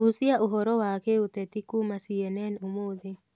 guciaũhoro wa giuteti kũma c.n.nũmũthĩ